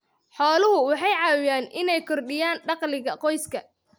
Xooluhu waxay caawiyaan inay kordhiyaan dakhliga qoyska.